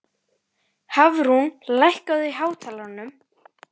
Hafrún, lækkaðu í hátalaranum.